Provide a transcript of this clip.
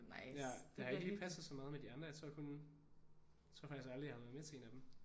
Ja det har ikke lige passet så meget med de andre. Jeg tror kun jeg tror faktisk aldrig jeg har været med til en af dem